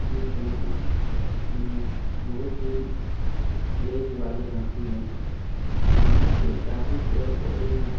ये दोनों बहुत ही एज वाले हाथी है यहां पे बहुत ही पेड़-पौधे हैं।